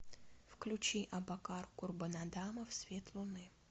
включи абакар курбанадамов свет луны